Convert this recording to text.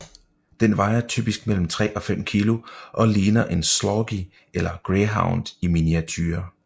Den vejer typisk mellem 3 og 5 kg og ligner en sloughi eller greyhound i miniature